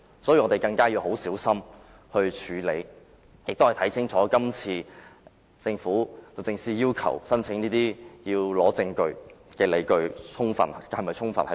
所以，我們要更小心處理，亦要看清楚律政司這次申請特別許可的理據是否充分。